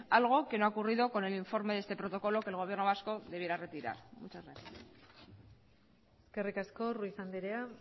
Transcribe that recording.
algo que no ha ocurrido con el informe de este protocolo que el gobierno vasco debiera retirar muchas gracias eskerrik asko ruiz andrea